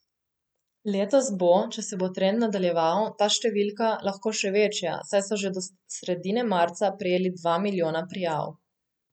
Letos bo, če se bo trend nadaljeval, ta številka, lahko še večja, saj so že do sredine marca prejeli dva milijona prijav.